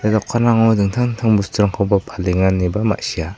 ia dokanrango dingtang dingtang bosturangkoba palenga ineba ma·sia.